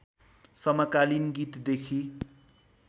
समकालिन गीतदेखि